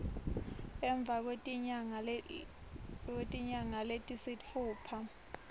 emva kwetinyanga letisitfupha